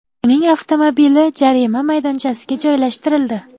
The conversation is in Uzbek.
Uning avtomobili jarima maydonchasiga joylashtirildi.